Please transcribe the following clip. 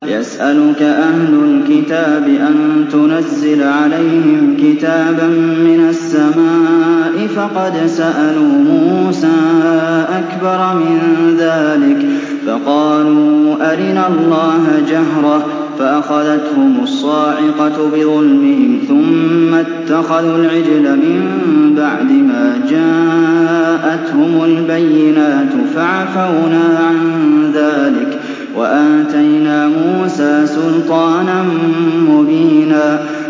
يَسْأَلُكَ أَهْلُ الْكِتَابِ أَن تُنَزِّلَ عَلَيْهِمْ كِتَابًا مِّنَ السَّمَاءِ ۚ فَقَدْ سَأَلُوا مُوسَىٰ أَكْبَرَ مِن ذَٰلِكَ فَقَالُوا أَرِنَا اللَّهَ جَهْرَةً فَأَخَذَتْهُمُ الصَّاعِقَةُ بِظُلْمِهِمْ ۚ ثُمَّ اتَّخَذُوا الْعِجْلَ مِن بَعْدِ مَا جَاءَتْهُمُ الْبَيِّنَاتُ فَعَفَوْنَا عَن ذَٰلِكَ ۚ وَآتَيْنَا مُوسَىٰ سُلْطَانًا مُّبِينًا